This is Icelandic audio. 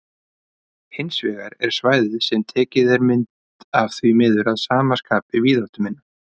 Hins vegar er svæðið sem tekin er mynd af því miður að sama skapi víðáttuminna.